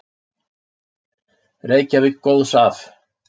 Reykjavík góðs af.